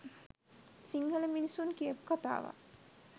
සිංහල මිනිසුන් කියපු කතාවක්.